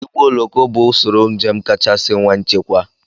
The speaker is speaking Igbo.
Igboulọkọ bụ usoro njem kachasị nwe nchekwa